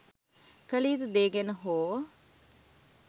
කළ යුතු දේ ගැන හෝ